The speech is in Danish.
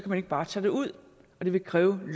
man ikke bare tage det ud det ville kræve en